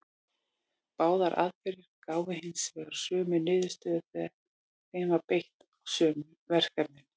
Báðar aðferðir gáfu hins vegar sömu niðurstöður þegar þeim var beitt á sömu verkefnin.